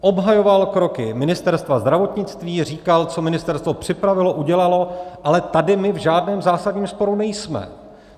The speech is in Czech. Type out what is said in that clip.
Obhajoval kroky Ministerstva zdravotnictví, říkal, co ministerstvo připravilo, udělalo, ale tady my v žádném zásadním sporu nejsme.